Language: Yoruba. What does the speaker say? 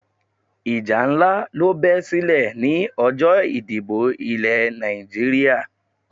Ìjà nlá ló be silè ni ọjó ìdìbò Ilè Nàìjíríà